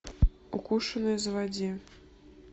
укушенный заводи